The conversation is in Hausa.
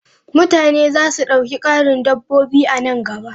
Mutane za su ɗauki ƙarin dabbobi a nan gaba.